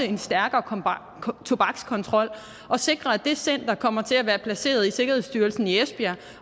en stærkere tobakskontrol at sikre at det center kommer til at være placeret i sikkerhedsstyrelsen i esbjerg